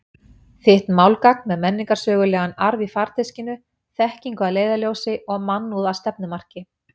Þitt málgagn með menningarsögulegan arf í farteskinu, þekkingu að leiðarljósi og mannúð að stefnumarki.